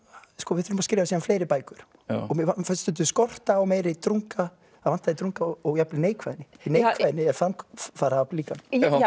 við þurfum að skrifa síðan fleiri bækur og mér finnst skorta á meiri drunga drunga og jafnvel neikvæðni neikvæðni er framfaraafl líka